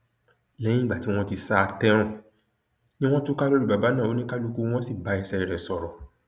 lẹyìn tí wọn ti sá a tẹrùn ni wọn túká lórí bàbá náà oníkálukú wọn sì bá ẹsẹ rẹ sọrọ